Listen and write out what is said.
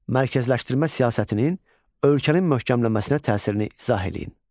Mərkəzləşdirmə siyasətinin ölkənin möhkəmlənməsinə təsirini izah eləyin.